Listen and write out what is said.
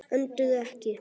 Önduðu ekki.